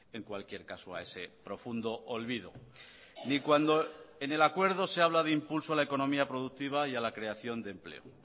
en cualquier caso a ese profundo olvido ni cuando en el acuerdo se habla de impulso a la economía productiva y a la creación de empleo